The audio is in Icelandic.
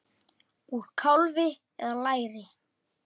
Úr kálfa eða læri!